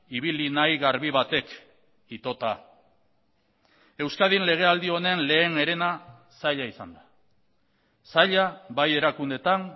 ibili nahi garbi batek itota euskadin lege aldi honen lehen erena zaila izan da zaila bai erakundeetan